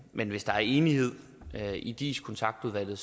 men hvis der er enighed i dis kontaktudvalget